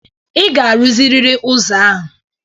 Ị ga-arụziriri ụzọ a!